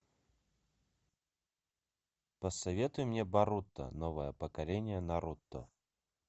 посоветуй мне боруто новое поколение наруто